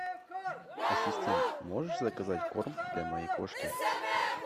ассистент можешь заказать корм для моей кошки